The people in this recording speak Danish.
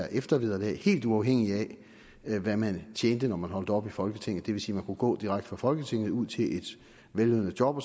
eftervederlag helt uafhængig af hvad man tjente når man holdt op i folketinget det vil sige at man kunne gå direkte fra folketinget og ud til et vellønnet job